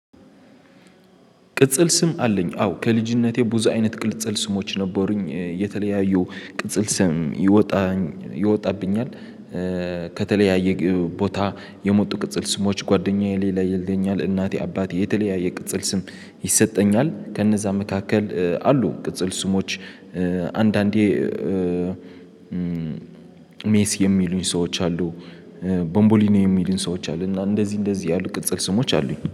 ቅጽል ስም አለኝ አዎ ከልጅነቴ ቡዝ አይነት ቅጽል ስሞች ነበሩኝ የተለያዩ ቅጽል ስም ይወጣብኛል። ከተለያየ ቦታ የመጡ ቅጽል ስሞች ጓደኛዬ ሌላ ይለኛል። እናቴ አባቴ የተለያየ ቅጽል ስም ይሰጠኛል። ከነዛ መካከል አሉ ቅጽል ስሞች። አንዳንዴ ሜስ የሚሉኝ ሰዎች አሉ። ቦንቦሊኒ የሚሉኝ ሰዎች አሉ እና እንደዚህ እንደዚህ ያሉ ቅጽል ስሞች አሉኝ